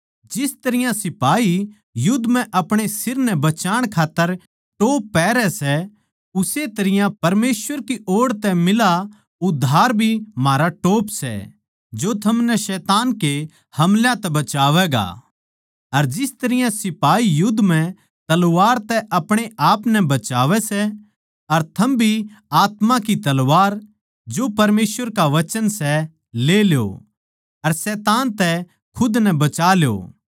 जिस तरियां सिपाही युध्द म्ह आपणे सिर नै बचाण खात्तर टोप पैहरै सै उस्से तरियां परमेसवर की ओड़ मिला उद्धार भी म्हारा टोप सै जो थमनै शैतान के हमलां तै बचावैगा अर जिस तरियां सिपाही युध्द म्ह तलवार तै आपणे आपनै बचावै सै अर थम भी आत्मा की तलवार जो परमेसवर का वचन सै ले ल्यो अर शैतान तै खुद नै बचा ल्यो